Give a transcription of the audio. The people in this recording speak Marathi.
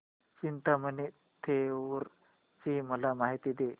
चिंतामणी थेऊर ची मला माहिती दे